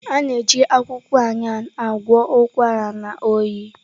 A na-eji akwụkwọ Ayan agwọ ụkwara na oyi.